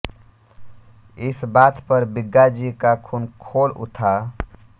इस बात पर बिग्गाजी का खून खोल उथा